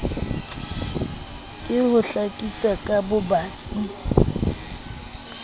ke ho hlakisa ka bobatsi